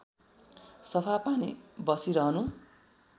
सफा पानी बसिरहनु